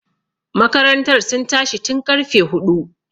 Makarantar sun tashi tun ƙarfe huɗu.